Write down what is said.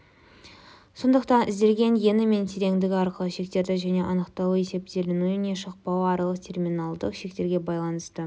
сондықтан ізделген ені мен тереңдігі арқылы шектері және анықталуы есептеленуі не шықпауы аралық терминалдык шектерге байланысты